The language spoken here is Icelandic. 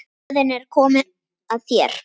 Röðin er komin að þér.